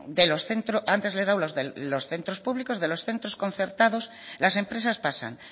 antes le he dado de los centros públicos de los centros concertados las empresas pasan